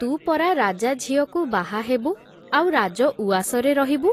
ତୁ ପରା ରାଜାଝିଅକୁ ବାହା ହେବୁ, ଆଉ ରାଜ ଉଆସରେ ରହିବୁ ।